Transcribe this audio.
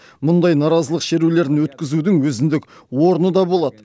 мұндай наразылық шерулерін өткізудің өзіндік орны да болады